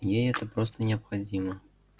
ей это просто необходимо